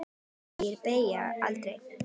Orðstír deyr aldrei.